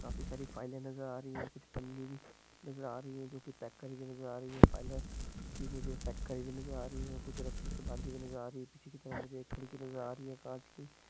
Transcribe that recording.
काफी सारि फाइल ए नजर आ रही है कुछ पन्नी भी नजर आ रही है जो कि पैक करि हुई नजर आ रही हे फाइल -ए भी मुझे पैक करि हुई नजर आ रही हे कुछ रस्सी से बंधी हुई नजर आ रही हे पीछे की तरह मुझे एक खिड़की नजर आ रही हे कांच की--